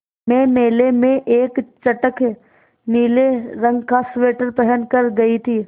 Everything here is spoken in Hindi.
मैं मेले में एक चटख नीले रंग का स्वेटर पहन कर गयी थी